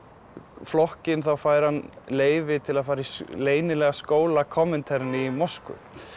flokkinn þá fær hann leyfi til að fara í leynilegan skóla Komiteren í Moskvu